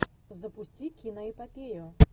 запусти киноэпопею